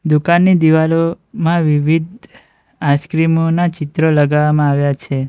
દુકાનની દીવાલોમાં વિવિધ આઈસ્ક્રીમો ના ચિત્ર લગાવવામાં આવ્યા છે.